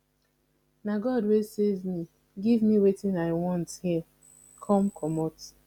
na god wey save me give me wetin i want here come comot